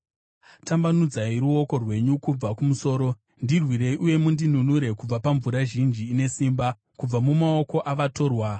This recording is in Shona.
Tambanudzai ruoko rwenyu kubva kumusoro; ndirwirei uye mundinunure kubva pamvura zhinji ine simba, kubva mumaoko avatorwa